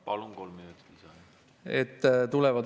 Palun, kolm minutit.